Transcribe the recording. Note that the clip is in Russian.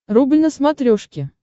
рубль на смотрешке